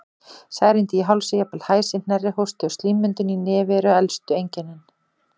Særindi í hálsi, jafnvel hæsi, hnerri, hósti og slímmyndun í nefi eru elstu einkennin.